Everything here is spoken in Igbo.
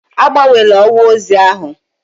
Agbanwela ọwa ozi ahụ!